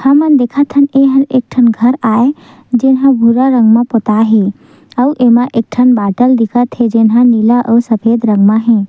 हमन देखतन एह एक ठन घर आय जेमा भूरा रंग म पोता हे अऊ एमा एकठन बाटल दिखत हे जोनह नीला अऊ सफेद रंग मे हे।